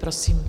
Prosím.